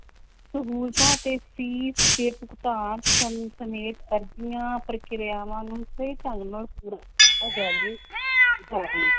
ਸਹੂਲਤਾਂ ਤੇ ਫ਼ੀਸ ਦੇ ਭੁਗਤਾਨ ਸਮੇਂ ਸਮੇਤ ਅਰਜੀਆਂ ਪ੍ਰਕਿਰਿਆਵਾਂ ਨੂੰ ਸਹੀ ਢੰਗ ਨਾਲ ਪੂਰਾ ਕੀਤਾ ਜਾਵੇ ਜਾਵੇ।